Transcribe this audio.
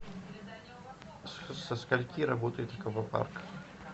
со скольки работает аквапарк